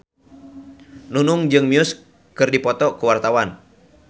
Nunung jeung Muse keur dipoto ku wartawan